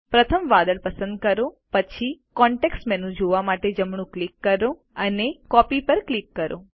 પ્રથમ વાદળ પસંદ કરો પછી કોન્તેક્ષ્ટ મેનૂ જોવા માટે જમણું ક્લિક કરો અને કોપી પર ક્લિક કરો